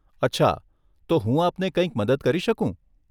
અચ્છા, તો હું આપને કંઈક મદદ કરી શકું?